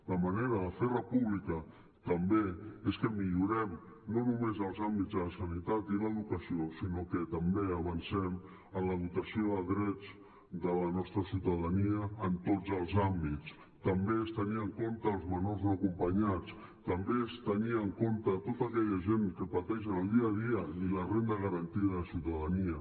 la manera de fer república també és que millorem no només els àmbits de la sanitat i l’educació sinó que també avancem en la dotació de drets de la nostra ciutadania en tots els àmbits també és tenir en compte els menors no acompanyats també és tenir en compte tota aquella gent que pateixen el dia a dia i la renda garantida de ciutadania